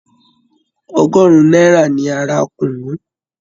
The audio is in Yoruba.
Ọgọ́rùn-ún náírà ni a ra kùnú.